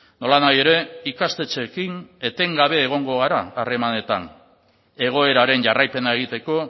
nolanahi ere ikastetxeekin etengabe egongo gara harremanetan egoeraren jarraipena egiteko